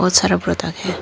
बहुत सारे है।